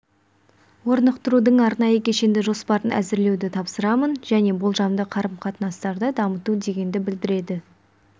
орнықтырудың арнайы кешенді жоспарын әзірлеуді тапсырамын және болжамды қарым-қатынастарды дамыту дегенді білдіреді